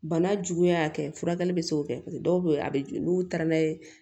Bana juguya kɛ furakɛli bɛ se k'o kɛ paseke dɔw bɛ yen a bɛ n'u taara n'a ye